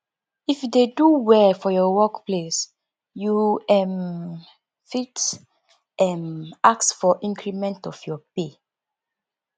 if you dey do well for your work place you um fit um ask for increment of your pay